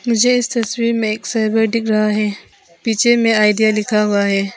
मुझे इस तस्वीर में एक सर्वर दिख रहा है पीछे में आइडिया लिखा हुआ है।